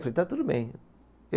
Eu falei, está tudo bem.